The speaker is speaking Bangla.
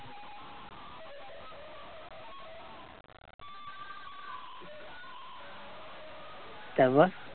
তারপর